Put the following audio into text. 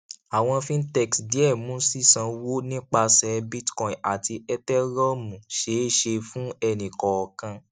àwọn fintechs díẹ mú sísánwó nipasẹ bitcoin àti ethereum ṣeé ṣe fún ẹnikọọkan